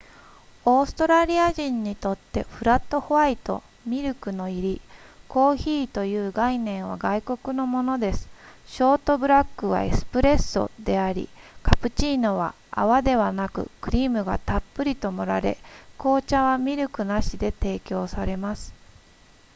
オーストラリア人にとってフラットホワイトミルクの入りコーヒーという概念は外国のものですショートブラックはエスプレッソでありカプチーノは泡ではなくクリームがたっぷりと盛られ紅茶はミルクなしで提供されます